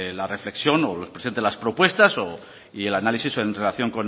la reflexión o nos presente las propuestas o y el análisis en relación